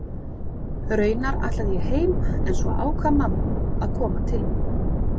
Raunar ætlaði ég heim en svo ákvað mamma að koma til mín.